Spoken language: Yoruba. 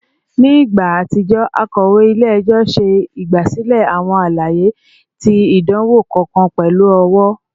Ni igba atijọ, akọwe ile-ẹjọ ṣe igbasilẹ awọn alaye ti idanwo kọọkan pẹlu ọwọ